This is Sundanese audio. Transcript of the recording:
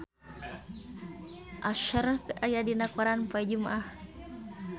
Usher aya dina koran poe Jumaah